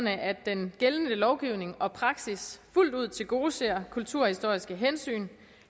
at den gældende lovgivning og praksis fuldt ud tilgodeser kulturhistoriske hensyn